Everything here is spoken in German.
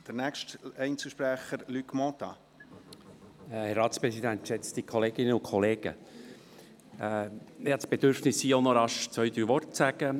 Ich habe das Bedürfnis, hier auch noch ein paar Worte zu sagen.